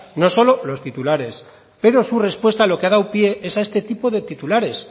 no solo los titulares pero su respuesta lo que ha dado pie es a este tipo de titulares